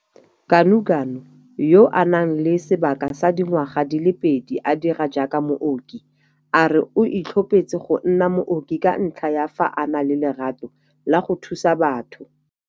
Ganuganu, yo a nang le sebaka sa dingwaga di le pedi a dira jaaka mooki, a re o itlhophetse go nna mooki ka ntlha ya fa a na le lerato la go thusa batho.